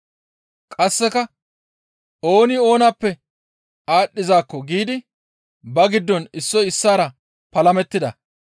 Qasseka, «Ooni oonappe aadhdhizaakko» giidi ba giddon issoy issaara palamettida.